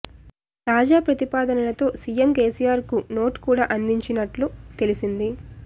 తాజా ప్రతిపాదనలతో CM KCR కు నోట్ కూడా అందించినట్లు తెలిసింది